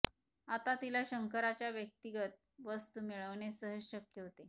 आता तिला शंकरच्या व्यक्तिगत वस्तु मिळवणे सहज शक्य होते